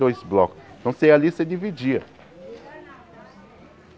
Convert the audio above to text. Dois bloco então, você ia ali você dividia.